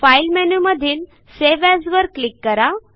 file मेनूमधील save as वर click करा